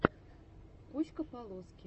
куська полоски